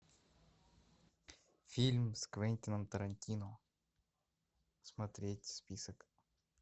фильм с квентином тарантино смотреть список